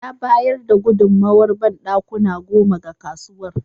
Ya bayar da gudunmowar banɗakuna goma ga kasuwar.